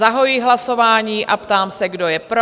Zahajuji hlasování a ptám se, kdo je pro?